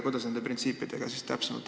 Kuidas nende printsiipidega täpsemalt on?